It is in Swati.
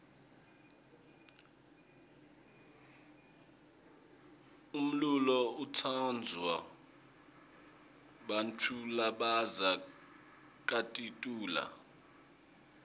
umlulo utsansvwa bantfulabaza kakitulu